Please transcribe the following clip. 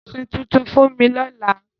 Ra àsọ tutun fún mi lọ́la.